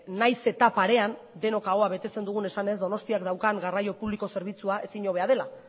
nahiz eta parean denok ahoa betetzen dugun esanez donostiak daukan garraio publiko zerbitzua ezin hobea dela